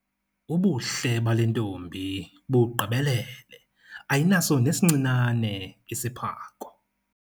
Ubuhle bale ntombi bugqibelele ayinaso nesincinane isiphako